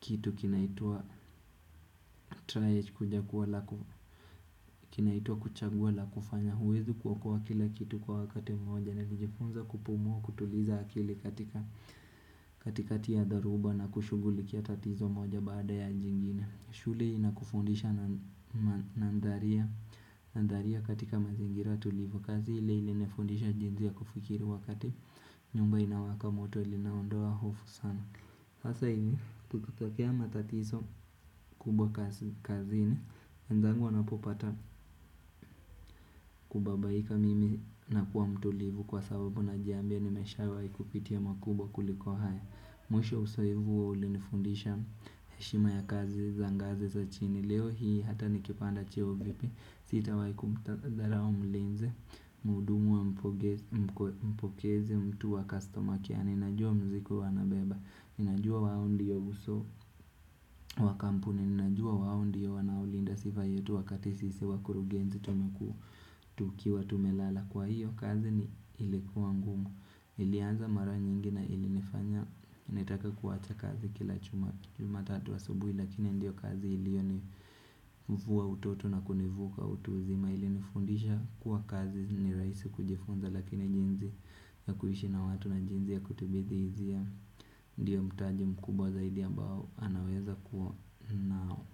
kitu kinaitwa triage kuchagua la kufanya huwezi kuokoa kila kitu kwa wakati moja Nilijifunza kupumua kutuliza akili katika katikati ya dharuba na kushugulikia tatizo moja baada ya jingine shule inakufundisha nandharia katika mazingira tulivu kazi ile ilinifundisha jinzi ya kufikiri wakati nyumba inawaka moto ilinaondoa hofu sana Sasa hivi kukitokea matatiso kubwa kazini wenzangu wanapopata kubabaika mimi nakuwa mtulivu kwa sababu najiambia nimeshawai kupitia makubwa kuliko haya Mwisho wa usoevu huo ulinifundisha heshima ya kazi za ngazi za chini Leo hii hata nikipanda cheo vipi Sitawai kumdharau mlinzi Muhudumu wa mpokezi mtu au custorma care ninajua mzigo huwa anabeba Ninajua wao ndiyo uso wa kampuni, ninajua wao ndiyo wanaolinda sifa yetu wakati sisi wakurugenzi tumeku tukiwa tumelala Kwa hiyo kazi ni ilikuwa ngumu, ilianza mara nyingi na ili nifanya, nitake kuwacha kazi kila jumatatu asubui Lakini ndiyo kazi iliyoni vua utoto na kunivuka utu uzima ili nifundisha kuwa kazi ni raisi kujifunza lakini jinzi ya kuishi na watu na jinzi ya kutibithi izia Ndiyo mtaji mkubwa zaidi ambao anaweza kuwa nao.